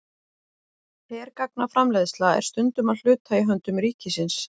Hergagnaframleiðsla er stundum að hluta í höndum ríkisins.